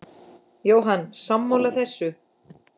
Jóhann: Sammála þessu?